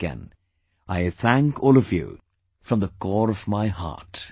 Once again, I thank all of you from the core of my heart